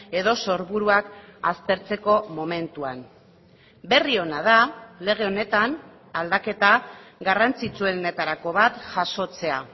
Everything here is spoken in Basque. edo sorburuak aztertzeko momentuan berri ona da lege honetan aldaketa garrantzitsuenetarako bat jasotzea